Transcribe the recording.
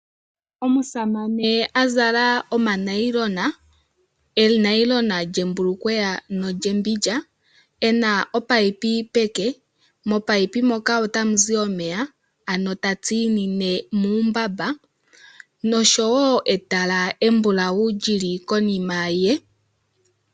Omusamane a zala omanayilona, enayilona lyembulukweya nolyembindja e na opayipi peke. Mopayipi moka otamu zi omeya ano ta tsinine muumbamba nosho wo etala embulawu li li konima ye.